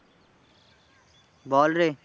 বল রে।